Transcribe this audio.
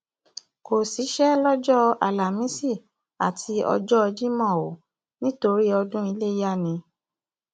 kò síṣẹ lọjọ álámísì àti ọjọ jimo o nítorí ọdún iléyà ni